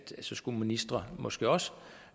så skal ministre måske også